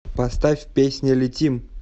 поставь песня летим